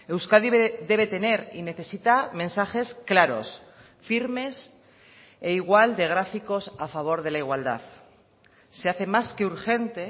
euskadi debe tener y necesita mensajes claros firmes e igual de gráficos a favor de la igualdad se hace más que urgente